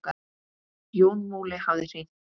Jón Múli hafði hringt.